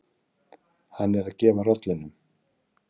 Hann er að gefa rollunum.